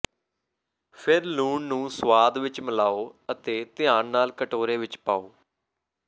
ਫਿਰ ਲੂਣ ਨੂੰ ਸੁਆਦ ਵਿਚ ਮਿਲਾਓ ਅਤੇ ਧਿਆਨ ਨਾਲ ਕਟੋਰੇ ਵਿਚ ਪਾਓ